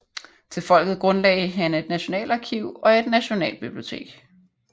Til folket grundlagde han et nationalarkiv og et nationalbibliotek